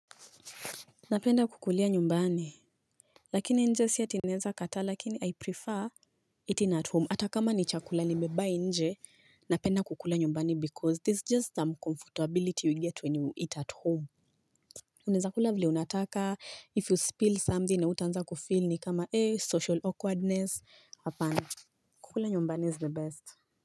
Napenda kukulia nyumbani. Lakini nje sieti naeza kataa lakini I prefer Eating at home hata kama ni chakula nimebuy inje napenda kukula nyumbani because there's just some comfortability you get when you eat at home. Unaeza kula vile unataka if you spill something hautanza kufeel ni kama eh social awkwardness hapana. Kukula nyumbani is the best.